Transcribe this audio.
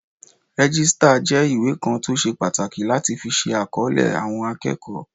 Rẹ́jísítà jẹ́ ìwé kan tó ṣe pàtàkì láti fi ṣe àkọlé àwọn akẹ́kọ̀ọ́